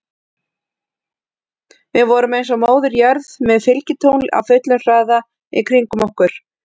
Við vorum eins og Móðir jörð með fylgitungl á fullum hraða í kringum okkur.